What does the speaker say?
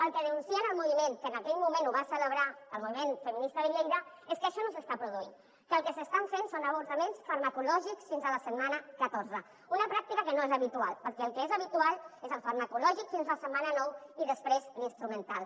el que denuncien el moviment que en aquell moment ho va celebrar el moviment feminista de lleida és que això no s’està produint que el que s’estan fent són avortaments farmacològics fins a la setmana catorze una pràctica que no és habitual perquè el que és habitual és el farmacològic fins la setmana nou i després l’instrumental